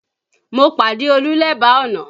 Mo pàdé Olú lẹ́bàá ọ̀nà